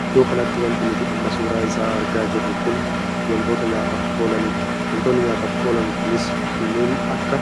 Iddoo kanatti wanti nuti amma suuraa isaa argaa jiru kun wantoota nyaataaf oolanidha. wantoonni nyaataaf oolan kunis kanneen akka